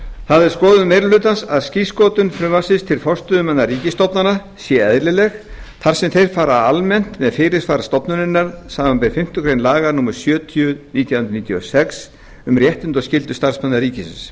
það er skoðun meiri hlutans að skírskotun frumvarpsins til forstöðumanna ríkisstofnana sé eðlileg þar sem þeir fara almennt með fyrirsvar stofnunar samanber fimmtu grein laga númer sjötíu nítján hundruð níutíu og sex um réttindi og skyldur starfsmanna ríkisins